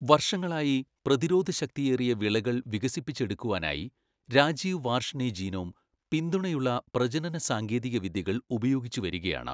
വർഷങ്ങളായി, പ്രതിരോധശക്തിയേറിയ വിളകൾ വികസിപ്പിച്ചെടുക്കുവാനായി രാജീവ് വാർഷ്ണേ ജീനോം പിന്തുണയുള്ള പ്രജനനസാങ്കേതികവിദ്യകൾ ഉപയോഗിച്ചുവരികയാണ്.